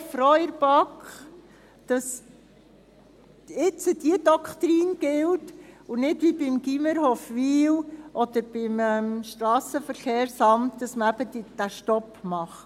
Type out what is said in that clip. Wir sind sehr froh seitens der BaK, dass jetzt diese Doktrin gilt und man – nicht wie beim Gymnasium Hofwil oder beim Strassenverkehrsamt – eben diesen Stopp macht.